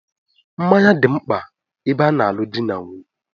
Mmanya dị mkpa ebe a na-alu dị na nwunye